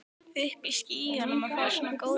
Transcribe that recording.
Uppi í skýjunum að fá svona góðar móttökur.